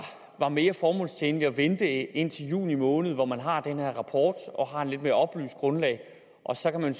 var mere formålstjenligt at vente indtil juni måned hvor man har den her rapport og har et lidt mere oplyst grundlag og så kan man